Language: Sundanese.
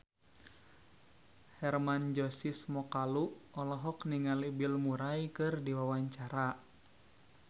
Hermann Josis Mokalu olohok ningali Bill Murray keur diwawancara